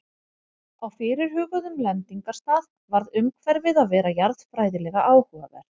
Á fyrirhuguðum lendingarstað varð umhverfið að vera jarðfræðilega áhugavert.